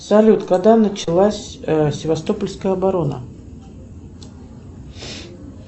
салют когда началась севастопольская оборона